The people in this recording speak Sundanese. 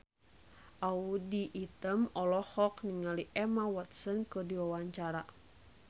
Audy Item olohok ningali Emma Watson keur diwawancara